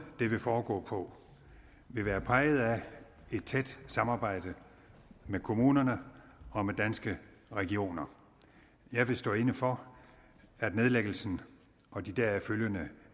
det vil foregå på vil være præget af et tæt samarbejde med kommunerne og med danske regioner jeg vil stå inde for at nedlæggelsen og de deraf følgende